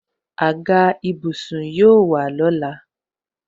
Àga ìbùsùn yóò wà lọ́la